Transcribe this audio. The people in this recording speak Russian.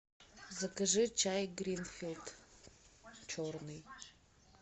закажи чай гринфилд черный